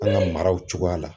An ka maraw cogoya la.